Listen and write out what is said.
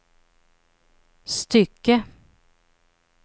stycke